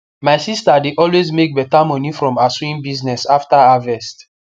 my sister de always make beta moni from her sewing business after harvest